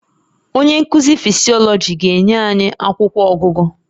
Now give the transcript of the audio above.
Onye nkuzi Physiology ga-enye anyị akwụkwọ ọgụgụ